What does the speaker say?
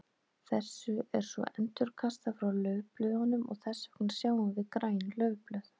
Þessu er svo endurkastað frá laufblöðunum og þess vegna sjáum við græn laufblöð.